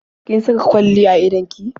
Kin saka kwalli ne a idon ki?